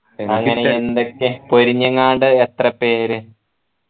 അങ്ങനെ എന്തൊക്കെ പൊരിഞ്ഞേങാണ്ട് എത്ര പേര്